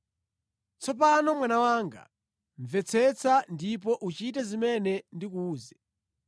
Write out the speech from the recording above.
Tsopano mwana wanga, mvetsetsa ndipo uchite zimene ndikuwuze: